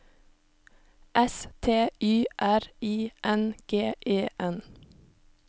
S T Y R I N G E N